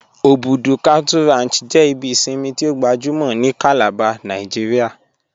Obùdú Cattle Ranch jẹ ibi ìṣinmi tí o gbàjúmọ̀ ni Calabar Nàìjíríà